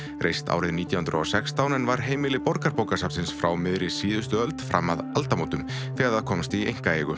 reist nítján hundruð og sextán en var heimili Borgarbókasafnsins frá miðri síðustu öld fram að aldamótum þegar það komst í einkaeigu